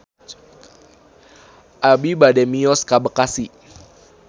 Abi bade mios ka Bekasi